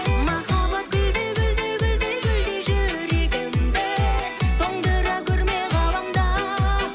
махаббат гүлдей гүлдей гүлдей гүлдей жүрегімді тоңдыра көрме ғаламда